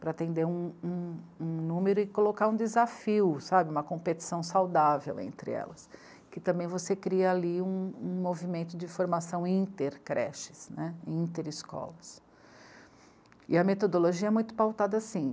para atender um, um, um número e colocar um desafio, sabe, uma competição saudável entre elas que também você cria ali um, um movimento de formação inter-creches, né, inter-escolas e a metodologia é muito pautada assim